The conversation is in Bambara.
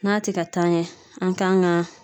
N'a te ka taa ɲɛ an kan ga